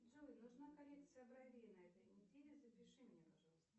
джой нужна коррекция бровей на этой неделе запиши меня пожалуйста